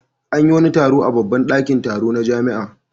An yi wani taro a babban ɗakin taro na jami'a.